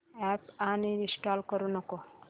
app uninstall करू नको